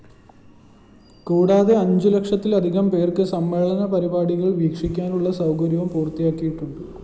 കൂടാതെ അഞ്ചുലക്ഷത്തിലധികംപേര്‍ക്ക് സമ്മേളന പരിപാടികള്‍ വീക്ഷിക്കാനുള്ള സൗകര്യവും പൂര്‍ത്തിയായിട്ടുണ്ട്